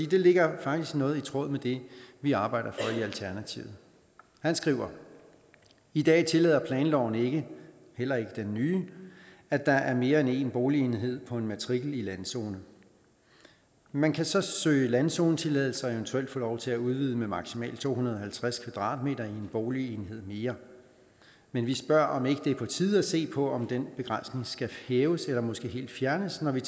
det ligger faktisk noget i tråd med det vi arbejder for i alternativet han skriver i dag tillader planloven ikke heller ikke den nye at der er mere end én boligenhed i på en matrikel i landzone man kan så søge landzonetilladelse og eventuelt få lov at udvide med maksimalt to hundrede og halvtreds kvadratmeter i en boligenhed mere vi vi spørger om det ikke er på tide at se på om den begrænsning skal hæves eller måske helt fjernes ved